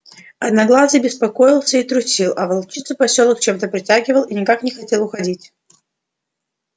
одноглазый беспокоился и трусил а волчицу посёлок чем то притягивал и она никак не хотела уходить